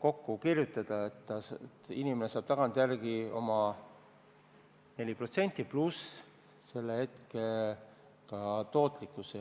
kokku kirjutada – inimene saab tagantjärele need 4%, pluss selle aja tootlikkus.